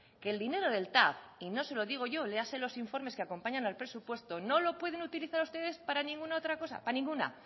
que el dinero del tav y no se lo digo yo léase los informes que acompañan al presupuesto no lo pueden utilizar ustedes para ninguna otra cosa para ninguna